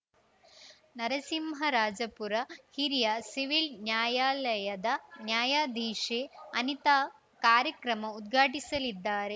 ನರಸಿಂಹರಾಜಪುರ ಹಿರಿಯ ಸಿವಿಲ್‌ ನ್ಯಾಯಾಲಯದ ನ್ಯಾಯಾಧೀಶೆ ಅನಿತಾ ಕಾರ್ಯಕ್ರಮ ಉದ್ಘಾಟಿಸಲಿದ್ದಾರೆ